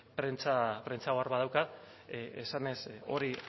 ze prentsa ohar bat daukat esanez hori